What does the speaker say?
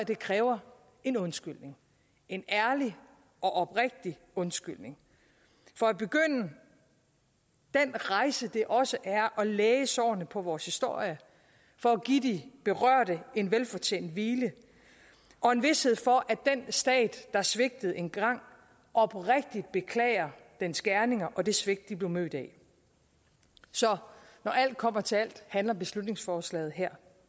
det kræver en undskyldning en ærlig og oprigtig undskyldning for at begynde den rejse det også er at læge sårene på vores historie for at give de berørte en velfortjent hvile og en vished for at den stat der svigtede engang oprigtig beklager dens gerninger og det svigt de bliver mødt af så når alt kommer til alt handler beslutningsforslaget her